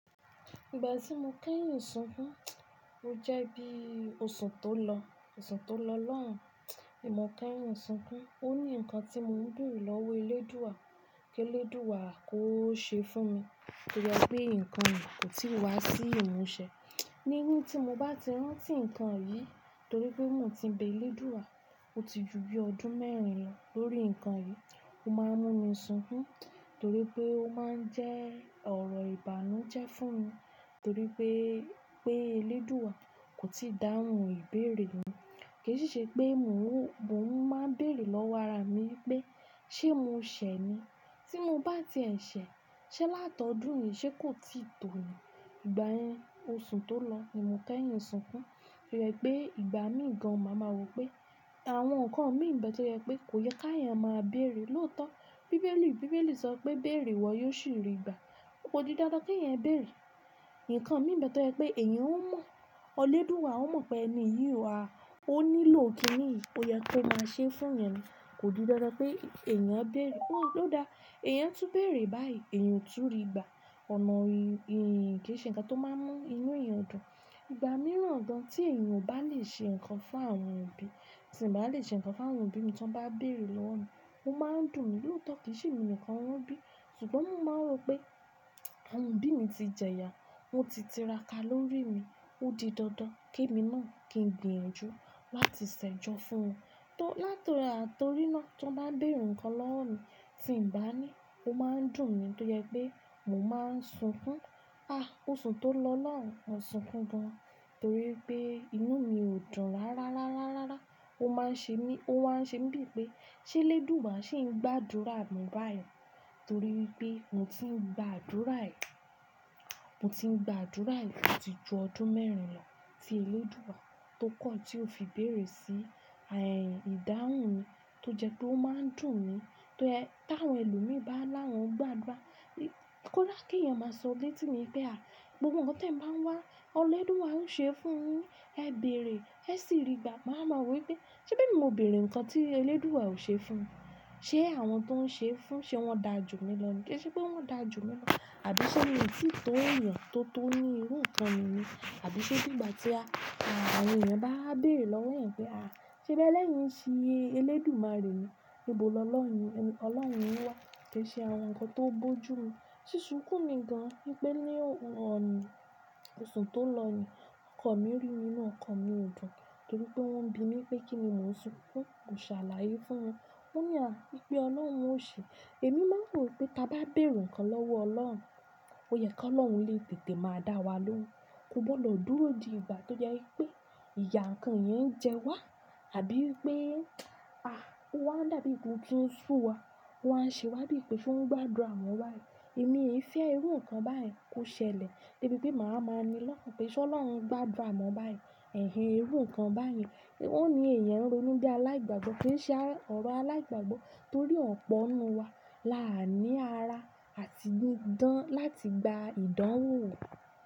Ìgbà tí mo kẹ́yìn sunkún, ó jẹ́ bí osù tó lọ, osù tó lọ lọ́hùn, nimo kẹ́yìn sunkún. Ó ní nǹkan tí mo ń dùn lọ́wọ́ Elédùà, kí Elédùà kó ṣe fún mi torí pé nǹkan yìí kò tíì wá sí ìmúṣẹ. Nígbà tí mo bá ti rántí nǹkan yìí torí pé mò ti bẹ Elédùà, ó ti ju bí ọdún mẹ́rin lọ lórí nǹkan yìí, ó máa ń mú mi sunkún torí pé ó máa ń jẹ́ ọ̀rọ̀ ìbànújẹ́ fún mi torí pé pé Elédùà kò tíì dáhùn ìbéèrè mi. Kì í ṣe pé mò ń máa ń béèrè lọ́wọ́ ara mi pé ṣé mò ṣẹ̀ ni? Tí mo bá ti ẹ̀ ṣẹ̀, ṣé látọdún yìí ṣé kò tíì tó ni? Ìgbà yẹn osù tó lọ èmo kẹ́yìn sunkún torí pé ìgbà míì gan máa ma wò pé àwọn nǹkan mí ń bẹ tó jẹ́ pé kò yẹ kí ẹ̀yàn máa béèrè. Lótọ́ Bíbélì, Bíbélì sọ pé "Bèèrè wọ yóò sì rí gbà". Ó kò di dandan kí ẹ̀yàn béèrè. Ǹkan mí ń bẹ tó jẹ́ pé èèyàn ó mọ̀, Elédùà ó mọ̀ pé ẹni yìí wa, ó nílò kín ní ó yẹ kó máa ṣe fún ẹni. Kò di dandan pé èèyàn á béèrè. Lóòda èèyàn tú béèrè báyìí, èèyàn tú rí gbà. Ọ̀nà yìí kì í ṣe ǹkan tó máa ń mú inú ẹyàn dùn. Ìgbà mìíràn dáń tí èèyàn ò bá lè ṣe ǹkan fún àwọn òbí, tí m bá lè ṣe ǹkan fún àwọn òbí mi tí wọ́n bá béèrè lọ́wọ́ mi, ó máa ń dùn mí. Lótọ́ kì í ṣe èmi nìkan wọn bí ṣùgbọ́n mò máa mọ̀ pé àwọn òbí mi ti jẹyà, wọ́n ti tiraka lórí mi, ó di dandan kí mi náà kí ń gbìyànjú láti ṣẹ̀jọ fún wọn. Látọ̀rí náà tí wọ́n bá béèrè ǹkan lọ́wọ́ mi tí ń bá ní, ó máa ń dùn mí torí pé mò máa ń sunkún. A! Osù tó lọ náà ò sunkún gan torí pé inú mi ò dùn rá rá rá rá rá. Ó máa ń ṣe mí, ó wáa ń ṣe mí bíi pé ṣé Elédùà ṣì ń gbàdúrà mi báyìí torí pé mo ti ń gba àdúrà yìí, mo ti ń gba àdúrà yìí títí ju ọdún mẹ́rin lọ tí Elédùà tó kọ́ tí ó fi béèrè sí ìdáhùn mi tó jẹ́ pé ó máa ń dùn mi. Ta àwọn ẹlòmíràn bá lára wọn gbàdúrà, kó lá pé ìyàn máa sọ léítì ní pé à, gbogbo nǹkan tí ẹ̀ ń bá wá, Elédùà ń ṣe fún un. Ẹ bèèrè ẹ sì rí gbà. Màá ma wò pé ṣé bí mo béèrè ǹkan tí Elédùà ò ṣe fún un. Ṣé àwọn tó ń ṣe fún un ṣé wọ́n da jù mí lọ ní? Kì í ṣe pé wọ́n da jù mí lọ àbí ṣe mi òtítọ́ èèyàn tó tó ní irú nǹkan mi ni àbí ṣe nígbà tí àwọn èèyàn bá béèrè lọ́wọ́ ẹ̀ pé à ṣé bẹ́ẹ́ lẹ́yìn ṣí Elédmare rè ni, ibo lọ lọ́hùn ni? Ọlọ́run wá kì í ṣe àwọn nǹkan tó bojú mi. Sí sunkún mi gan pé ní ọ̀sán osù tó lọ ni ọkọ̀ mi rí nínú ọkọ̀ mi ò dùn torí pé wọ́n ń bi mí pé kíni mò ń sunkún, mo ṣàlàyé fún wọn. Ó ní à bíi pé Ọlọ́run ò ṣe. Èmi máa ń wò pé tí a bá béèrè ǹkan lọ́wọ́ Ọlọ́run, ó yẹ kí Ọlọ́run lé tètè máa dá wa lóhùn. Ko gbọdọ̀ dúró di ìgbà tó jẹ́ pé ìyà nǹkan yẹn ń jẹ wá àbí pé a! Ó máa ń dàbí gbóńgbóń ń ṣú wa, ó máa ń ṣe wá bíi pé ṣé wọ́n gbàdúrà mọ́ wa yìí. Èmi kì í fẹ́ irú nǹkan báyìí kó ṣẹlẹ̀. Bí i pé màá máa ni lọ́kàn pé ṣé Ọlọ́run gbàdúrà mọ́ wa báyìí, èhìn irú nǹkan báyìí, ó ní èèyàn ń ronú bí aláìgbàgbọ́ kì í ṣe ọ̀rọ̀ aláìgbàgbọ́ torí ọ̀pọ̀ inú wa là á ní ara àti gbìdán láti gba ìdáhùn rẹ̀.